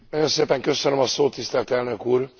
Nagyon szépen köszönöm a szót, tisztelt Elnök Úr!